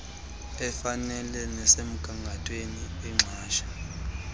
efanelileyo nesemgangathweni ixhase